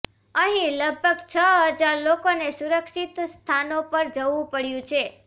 અહીં લગભગ છ હજાર લોકોને સુરક્ષિત સ્થાનો પર જવું પડયું છે